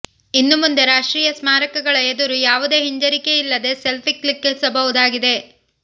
ಇನ್ನು ಮುಂದೆ ರಾಷ್ಟ್ರೀಯ ಸ್ಮಾರಕಗಳ ಎದುರು ಯಾವುದೇ ಹಿಂಜರಿಕೆ ಇಲ್ಲದೆ ಸೆಲ್ಫಿ ಕ್ಲಿಕ್ಕಿಸಬಹುದಾಗಿದೆ